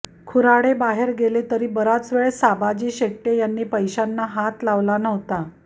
खुराडे बाहेर गेले तरी बराच वेळ साबाजी शेटय़े यांनी पैशांना हात लावला नव्हता